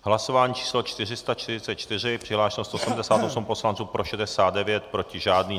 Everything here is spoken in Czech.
Hlasování číslo 444, přihlášeno 178 poslanců, pro 69, proti žádný.